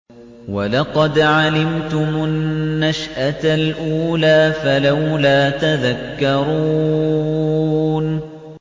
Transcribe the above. وَلَقَدْ عَلِمْتُمُ النَّشْأَةَ الْأُولَىٰ فَلَوْلَا تَذَكَّرُونَ